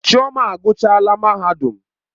Chioma aguchaala mahadum.